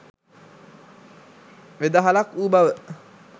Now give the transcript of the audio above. වෙදහලක් වූ බව